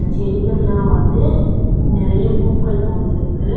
செடிகள்லா வந்து நறைய பூக்கள் பூத்திருக்கு.